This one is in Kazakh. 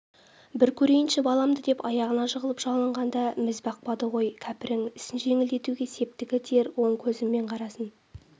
бір көрейінші баламды деп аяғына жығылып жалынғанда міз бақпады ғой кәпірің ісін жеңілдетуге септігі тиер оң көзімен қарасын